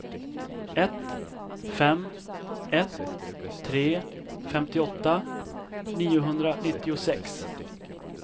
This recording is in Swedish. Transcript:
ett fem ett tre femtioåtta niohundranittiosex